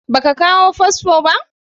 Ba ka kawo fasfo ba?